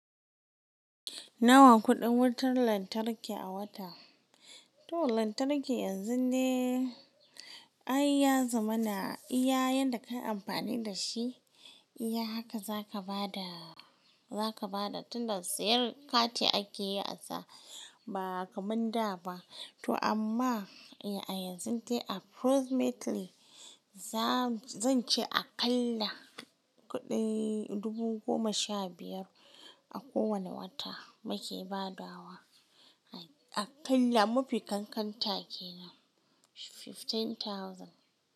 Nawa kuɗin wutar lantarki a wata? To lanark yanzun dai ai ya zamana iya yanda kayi amfani dashi iya haka aka bada zaka bada tunda siyar kati akeyi asa, ba kaman da ba. To amma a yanzu dai approximately zance aƙalla kuɗin dubu goma sha biyar akowanen wata muke badawa. Aƙalla mafi ƙanƙanta kenan fifteen thousand.